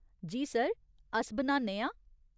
जी, sir, अस बनान्ने आं ।